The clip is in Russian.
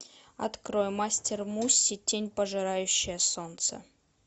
открой мастер муси тень пожирающая солнце